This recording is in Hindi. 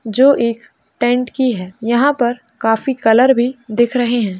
जो एक टेंट की है। यहाँ पर काफी कलर भी दिख रहें हैं।